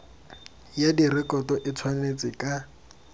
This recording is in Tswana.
ya direkoto e tshwanetse ka